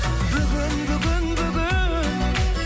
бүгін бүгін бүгін